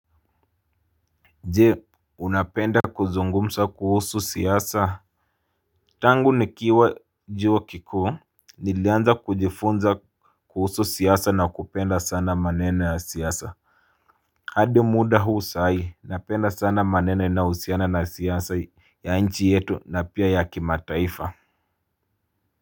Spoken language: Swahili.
Je unapenda kuzungumsa kuhusu siasa. Tangu nikiwa juo kikuu nilianza kujifunza kuhusu siasa na kupenda sana maneno ya siasa. Hadi muda huu sai napenda sana maneno inayohusiana na siasa ya nchi yetu na pia ya kimataifa Muzika.